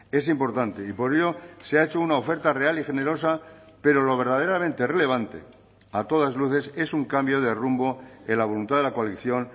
es importante y por ello se ha hecho una oferta real y generosa pero lo verdaderamente relevante a todas luces es un cambio de rumbo en la voluntad de la coalición